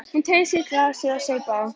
Hún teygði sig í glasið og saup á.